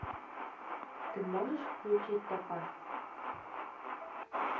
ты можешь включить топаз